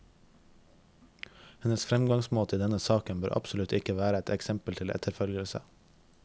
Hennes fremgangsmåte i denne saken bør absolutt ikke være et eksempel til etterfølgelse.